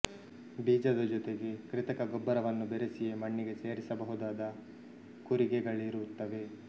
ಬೀಜದ ಜೋತೆಗೆ ಕೃತಕ ಗೊಬ್ಬರವನ್ನು ಬೆರೆಸಿಯೇ ಮಣ್ಣಿಗೆ ಸೇರಿಸಬಹುದಾದ ಕೂರಿಗೆಗಳಿರುತ್ತವೆ